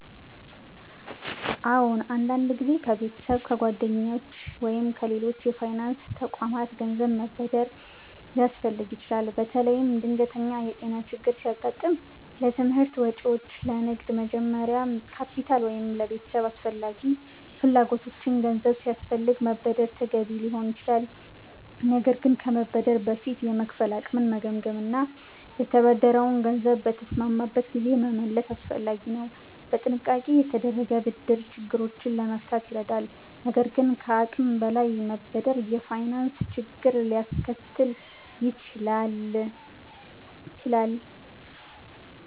አዎን፣ አንዳንድ ጊዜ ከቤተሰብ፣ ከጓደኞች ወይም ከሌሎች የፋይናንስ ተቋማት ገንዘብ መበደር ሊያስፈልግ ይችላል። በተለይም ድንገተኛ የጤና ችግር ሲያጋጥም፣ ለትምህርት ወጪዎች፣ ለንግድ መጀመሪያ ካፒታል ወይም ለቤተሰብ አስፈላጊ ፍላጎቶች ገንዘብ ሲያስፈልግ መበደር ተገቢ ሊሆን ይችላል። ነገር ግን ከመበደር በፊት የመክፈል አቅምን መገምገም እና የተበደረውን ገንዘብ በተስማማበት ጊዜ መመለስ አስፈላጊ ነው። በጥንቃቄ የተደረገ ብድር ችግሮችን ለመፍታት ይረዳል፣ ነገር ግን ከአቅም በላይ መበደር የፋይናንስ ችግር ሊያስከትል ይችላል።